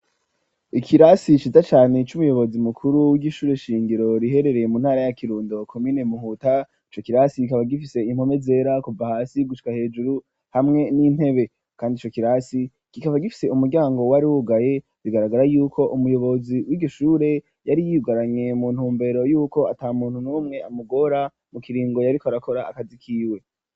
Ikirasi ciza cane c'umuyobozi mukuru w'ishure shingiro riherereye mu ntara ya kirundo komine muhuta ,ico kirasi kikaba gifise impome zera kuva hasi gushika hejuru hamwe n'intebe kandi ico kirasi kikaba gifise umuryango wari wugaye bigaragara yuko umuyobozi wiryo shure yari yiyugaranye mu ntumbero y'uko ata muntu n'umwe amugora mu kiringo yariko arakora akazi kiwe.